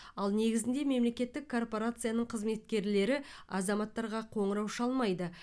ал негізінде мемлекеттік корпорацияның қызметкерлері азаматтарға қоңырау шалмайды